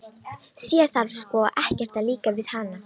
Þér þarf sko ekkert að líka við hana.